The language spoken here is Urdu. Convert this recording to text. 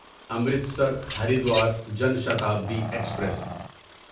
امرتسر ہریدوار جن شتابدی ایکسپریس